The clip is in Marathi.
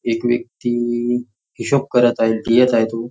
एक व्यक्ती हिशोब करत आहे लिहत आहे तो.